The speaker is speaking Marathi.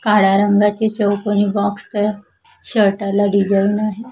काळ्या रंगाचे चौकोनी बॉक्स आहेत शर्टला डिसाईन आहे.